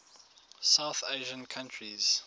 south asian countries